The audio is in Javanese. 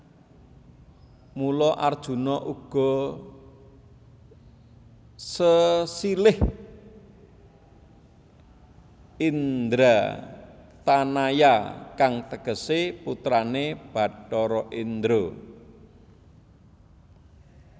Mula Arjuna uga sesilih Indratanaya kang tegesé putrané Bathara Indra